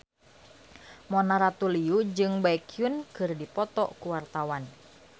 Mona Ratuliu jeung Baekhyun keur dipoto ku wartawan